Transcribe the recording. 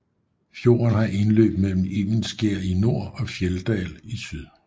Fjorden har indløb mellem Evenskjer i nord og Fjelldal i syd